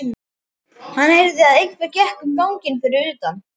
Hann heyrði að einhver gekk um ganginn fyrir utan.